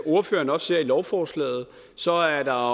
ordføreren også ser i lovforslaget så er